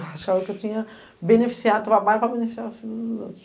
Achavam que eu tinha que beneficiar a tua mãe para beneficiar a filha dos outros.